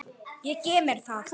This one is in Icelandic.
Ég gef mér það.